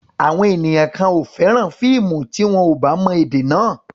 Àwọn ènìyàn kan ò fẹ́ràn fíìmù tí wọn ò bá mọ èdè náà.